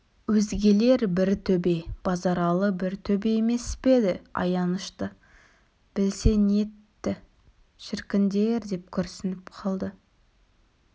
өзгелер бір төбе базаралы бір төбе емес пе еді аянышты білсе нетті шіркіндер деп күрсініп қалды